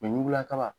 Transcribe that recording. ɲugula kaba